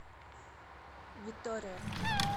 витория